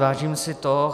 Vážím si toho.